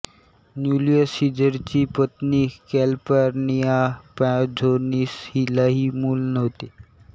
Julius सिझरची पत्नी Calpurnia Pisonis हिलाही मूल नव्हते